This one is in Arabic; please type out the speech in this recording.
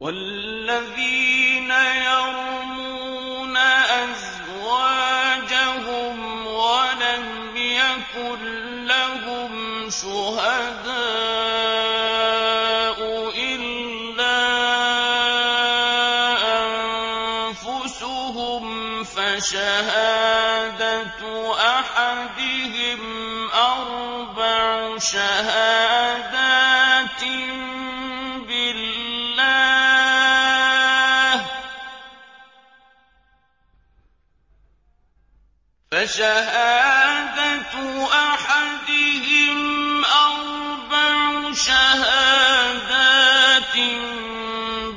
وَالَّذِينَ يَرْمُونَ أَزْوَاجَهُمْ وَلَمْ يَكُن لَّهُمْ شُهَدَاءُ إِلَّا أَنفُسُهُمْ فَشَهَادَةُ أَحَدِهِمْ أَرْبَعُ شَهَادَاتٍ